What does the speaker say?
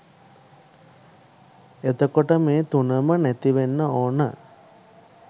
එතකොට මේ තුනම නැතිවෙන්න ඕන